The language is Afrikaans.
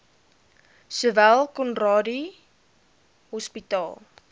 sowel conradie hospitaal